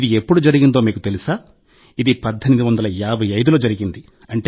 ఇది ఎప్పుడు జరిగిందో మీకు తెలుసా ఇది 1855లో జరిగింది